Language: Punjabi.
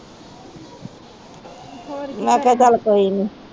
ਮੇਖਾ ਚਲ ਕੋਈ ਨੀ